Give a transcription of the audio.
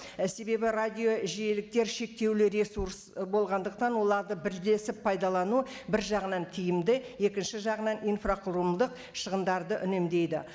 і себебі радио жиеліктер шектеулі ресурс і болғандықтан оларды бірлесіп пайдалану бір жағынан тиімді екінші жағынан инфрақұрылымдық шығындарды үнемдейді